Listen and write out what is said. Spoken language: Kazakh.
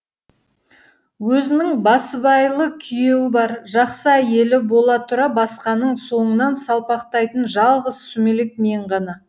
өзінің басыбайлы күйеуі бар жақсы әйелі бола тұра басқаның соңынан салпақтайтын жалғыз сүмелек мен ғана